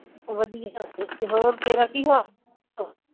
ਵਧੀਆ ਹੋਰ ਤੇਰਾ ਕੀ ਹਾਲ